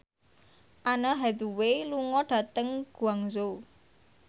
Anne Hathaway lunga dhateng Guangzhou